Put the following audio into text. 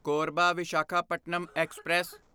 Korba Visakhapatnam express